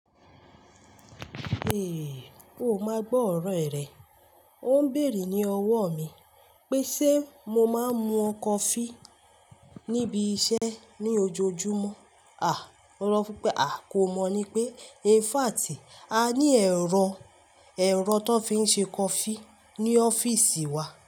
Ó ma gbọ ọrọ ẹ rẹ. O n beere ni ọwọ mi pe ṣe mo ma n mu coffee nibi iṣẹ ni ojoojumọ. O rọ fun pe, a ko mọ ni pe, in fact a ni ẹrọ, ẹrọ tó fi n ṣe coffee ni ọfiisi wa.